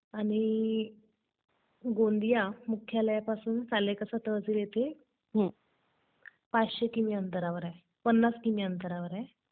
आणि... गोंदिया मुख्यालयापासून सालेकसा तहसील येथे ५०० किमी अंतरावर आहे, ५० किमी अंतरावर आहे.